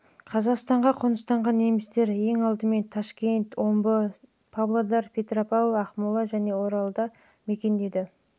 қазақстанға қоныстанған немістер ең алдымен ташкент пен омбыда сондай-ақ павлодарда петропавлда ақмолада және оралда мекендеді